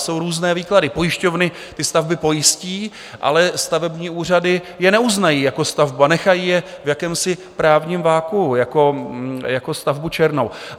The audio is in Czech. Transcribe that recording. Jsou různé výklady, pojišťovny ty stavby pojistí, ale stavební úřady je neuznají jako stavbu a nechají je v jakémsi právním vakuu jako stavbu černou.